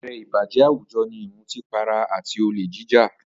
Apẹ̀rẹ̀ ìbàjẹ́ àwùjọ ní ìmutí para àti olè jíjà